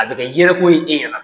A bɛ kɛ yɛlɛko ye e ɲɛna.